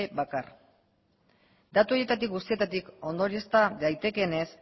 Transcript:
bakar datu horietatik guztietatik ondoriozta daitekeenez